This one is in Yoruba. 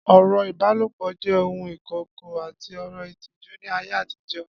Ọ̀rọ̀ ìbálòpọ̀ jẹ́ ohun ìkọ̀kọ̀ àti ọ̀rọ̀ ìtìjú ní ayé àtijọ́